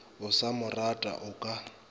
o sa morata o ka